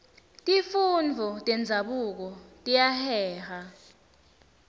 tifundvo tenzabuko tiyaheha